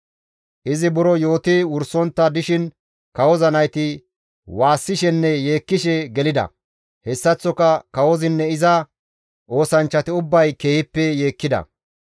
Izi buro yooti wursontta dishin kawoza nayti waassishenne yeekkishe gelida; hessaththoka kawozinne iza oosanchchati ubbay keehippe yeekkida.